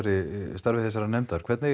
starfi þessarar nefndar hvernig